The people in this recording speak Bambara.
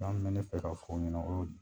be ne fɛ ka fɔ u ɲɛna o y'o ye.